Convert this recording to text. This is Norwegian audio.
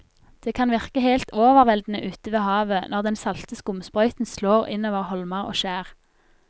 Det kan virke helt overveldende ute ved havet når den salte skumsprøyten slår innover holmer og skjær.